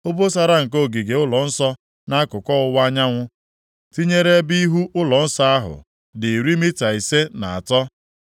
Obosara nke ogige ụlọnsọ nʼakụkụ ọwụwa anyanwụ, tinyere ebe ihu ụlọnsọ ukwu ahụ, dị iri mita ise na atọ.